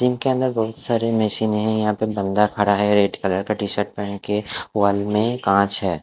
जिनके अंदर बहुत सारी मशीनें है यहाँ पे बंदा खड़ा है रेड कलर का टी-शर्ट पहन के वॉल में काँच है।